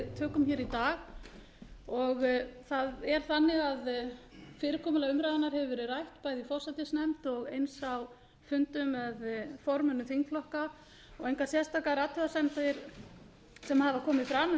er þannig að fyrirkomulag umræðunnar hefur verið rætt bæði í forsætisnefnd og eins á fundum með formönnum þingflokka og engar sérstakar athugasemdir sem hafa komið fram um